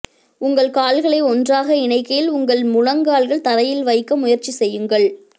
உங்கள் கால்களை ஒன்றாக இணைக்கையில் உங்கள் முழங்கால்கள் தரையில் வைக்க முயற்சி செய்யுங்கள்